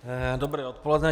Dobré odpoledne.